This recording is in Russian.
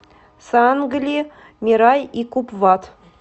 сангли мирай и купвад